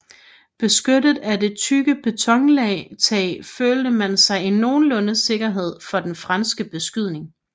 Beskyttet af det tykke betontag følte man sig i nogenlunde sikkerhed for den franske beskydning